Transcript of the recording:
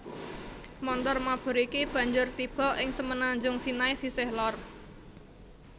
Montor mabur iki banjur tiba ing Semenanjung Sinai sisih lor